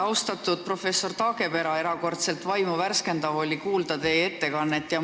Austatud professor Taagepera, erakordselt vaimu värskendav oli teie ettekannet kuulata.